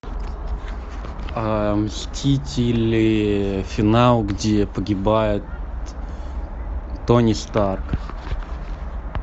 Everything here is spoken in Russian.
мстители финал где погибает тони старк